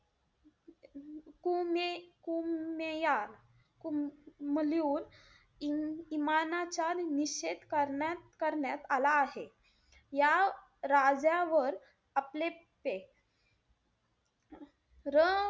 रामैया कुम~ लिहून इमानाचा निषेध करण्यात-करण्यात आला आहे. या राजावर र,